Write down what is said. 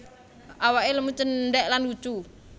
Awake lemu cendhek lan lucu